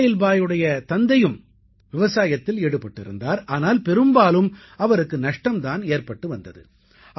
இஸ்மாயில் பாய் உடைய தந்தையும் விவசாயத்தில் ஈடுபட்டிருந்தார் ஆனால் பெரும்பாலும் அவருக்கு நஷ்டம் தான் ஏற்பட்டு வந்தது